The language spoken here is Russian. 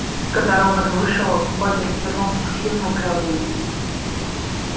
когда робот вышел богерт вернулся к сьюзен кэлвин